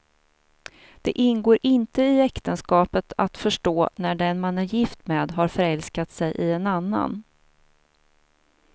Det ingår inte i äktenskapet att förstå när den man är gift med har förälskat sig i en annan.